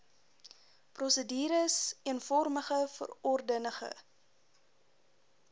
prosedures eenvormige verordenige